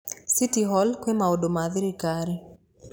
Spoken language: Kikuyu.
City Hall kwĩ maũndũ ma thirikari.